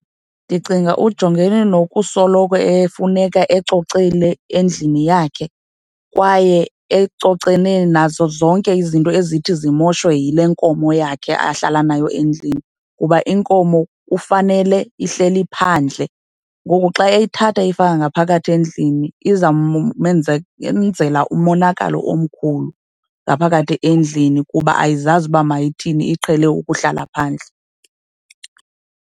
Ndicinga ujongene nokusoloko efuneka ecocile endlini yakhe kwaye ecocene nazo zonke izinto ezithi zimoshwe yile nkomo yakhe ahlala nayo endlini, kuba inkomo kufanele ihleli phandle. Ngoku xa eyithatha eyifaka ngaphakathi endlini izawumenzela umonakalo omkhulu ngaphakathi endlini kuba ayizazi uba mayithini, iqhele ukuhlala phandle.